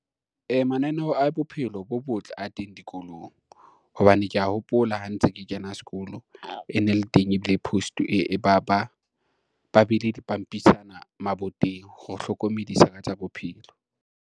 Mananeo a bophelo bo botle a teng dikolong, hobane kea hopola ha ntse ke kena sekolo e ne le teng, ebile ba beile dipampitshana maboteng ho hlokomedisa ka tsa bophelo.